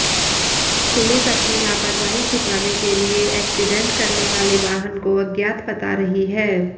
police अपनी लापरवाही छिपाने के लिए एक्सीडेंट करने वाले वाहन को अज्ञात बता रही है